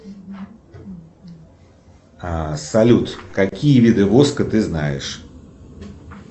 салют какие виды воска ты знаешь